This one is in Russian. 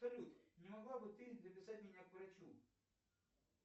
не могла бы ты записать меня к врачу